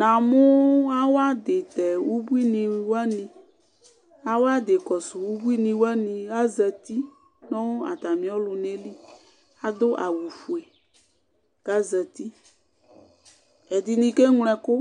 Namʋ awʋadi ʋbuini wani awʋadi ʋbuini kɔsʋ wani azati nʋ atami ɔlʋna yɛli adʋ awʋfue kʋ azati ɛdini keŋlo ɛkʋ